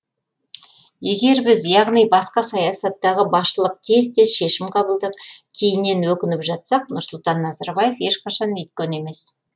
егер біз яғни басқа саясаттағы басшылық тез тез шешім қабылдап кейіннен өкініп жатсақ нұрсұлтан назарбаев ешқашан өйткен емес